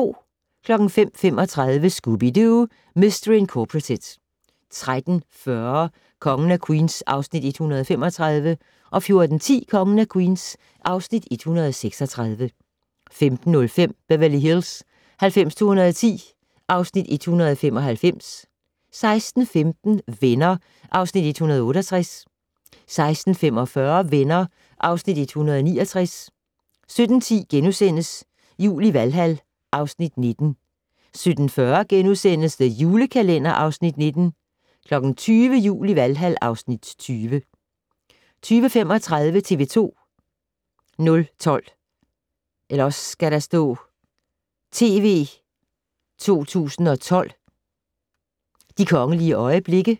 05:35: Scooby-Doo! Mistery Incorporated 13:40: Kongen af Queens (Afs. 135) 14:10: Kongen af Queens (Afs. 136) 15:05: Beverly Hills 90210 (Afs. 195) 16:15: Venner (Afs. 168) 16:45: Venner (Afs. 169) 17:10: Jul i Valhal (Afs. 19)* 17:40: The Julekalender (Afs. 19)* 20:00: Jul i Valhal (Afs. 20) 20:35: TV 2 012: De kongelige øjeblikke